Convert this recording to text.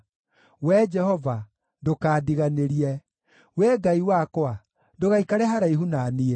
Wee Jehova, ndũkandiganĩrie; Wee Ngai wakwa, ndũgaikare haraihu na niĩ.